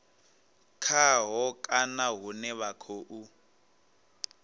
khaho kana hune vha khou